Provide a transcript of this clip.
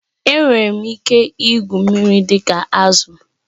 Enwere m ike igwu mmiri dị ka azụ